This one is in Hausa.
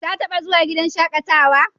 Ta taɓa zuwa gidan shaƙatawa?